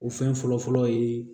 O fɛn fɔlɔ fɔlɔ ye